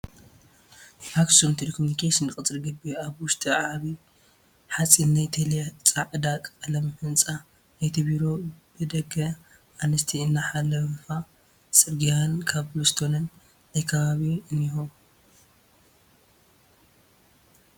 ኣክሱም ቴለኮምኒኬሽን ቅፅረ ግቢ ኣብ ዉሽጡ ዓብይ ሓፂን ናይ ቴለ ፃዕዳ ቀለሙ ህንፃ ናይቲ ቢሮ ብደገ ኣንስቲ እናሓለፋ ፅርግያን ኮብልስቶንን ናይ ከባቢ እኒሄዉ።